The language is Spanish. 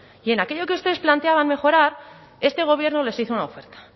y en aquello que ustedes planteaban mejorar este gobierno les hizo una oferta